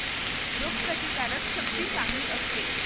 रोगप्रतिकारक शक्ती चांगली असते.